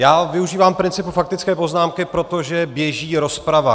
Já využívám principu faktické poznámky, protože běží rozprava.